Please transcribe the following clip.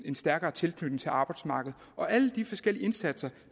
en stærkere tilknytning til arbejdsmarkedet alle de forskellige indsatser